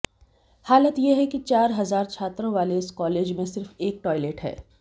हालत ये है कि चार हजार छात्रों वाले इस कॉलेज में सिर्फ एक टॉयलेट है